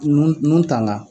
K'i nun nun tanga!